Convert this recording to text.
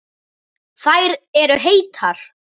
Þær eru heitar.